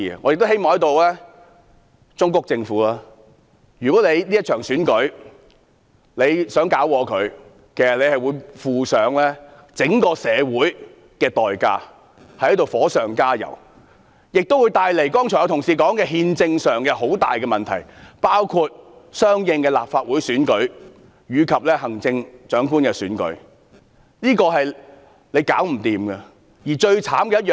我亦希望在此忠告政府，如果政府想破壞這場選舉，將要負上整個社會的代價，是火上加油，並會帶來憲政上很大的問題，包括之後相應舉行的立法會選舉及行政長官選舉，令問題難以處理。